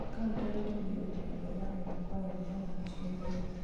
thaaka ũtegũtigithĩria ndũhio ya ĩmwe kwa ĩmwe wa wanjirũ mũrĩithi